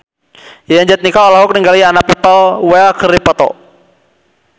Yayan Jatnika olohok ningali Anna Popplewell keur diwawancara